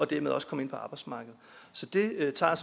dermed også kommer ind på arbejdsmarkedet så det tager